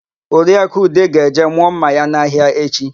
Oriaku Ude ga-eje mụọ ḿmà ya n'ahịa echi.